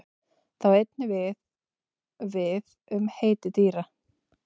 Það á einnig við við um heiti dýra.